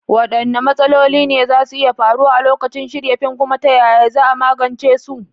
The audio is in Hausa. Waɗanne matsaloli ne za su iya faruwa a lokacin shirya fim, kuma ta yaya za a magance su?